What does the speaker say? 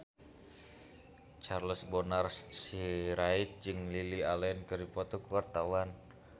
Charles Bonar Sirait jeung Lily Allen keur dipoto ku wartawan